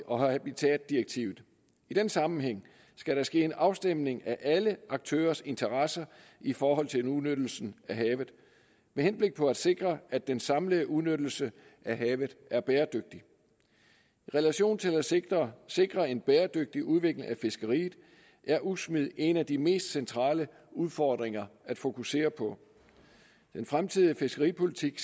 og habitatdirektivet i den sammenhæng skal der ske en afstemning af alle aktørers interesser i forhold til en udnyttelse af havet med henblik på at sikre at den samlede udnyttelse af havet er bæredygtig i relation til at sikre sikre en bæredygtig udvikling af fiskeriet er udsmid en af de mest centrale udfordringer at fokusere på den fremtidige fiskeripolitik